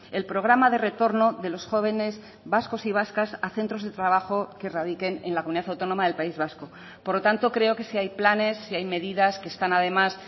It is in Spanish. el programa de retorno de los jóvenes vascos y vascas a centros de trabajo que radiquen en la comunidad autónoma del país vasco por lo tanto creo que sí hay planes sí hay medidas que están además